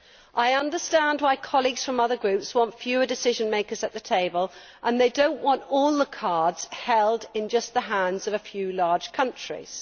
I understand why colleagues from other groups want fewer decision makers at the table and they do not want all the cards held just in the hands of a few large countries.